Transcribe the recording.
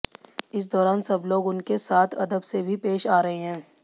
इस दौरान सब लोग उनके साथ अदब से भी पेश आ रहे हैं